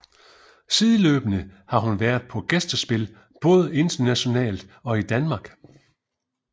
Sideløbende har hun været på gæstespil både internationalt og i Danmark